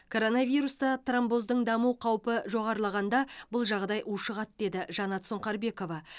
коронавируста тромбоздың даму қаупі жоғарылағанда бұл жағдай ушығады деді жаннат сұңқарбекова